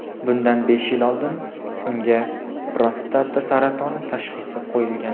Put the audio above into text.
Bundan besh yil oldin unga prostata saratoni tashxisi qo‘yilgan.